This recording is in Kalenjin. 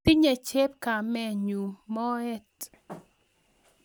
tinye chepkomenyu moet